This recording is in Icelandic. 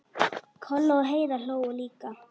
Kolla og Heiða hlógu líka.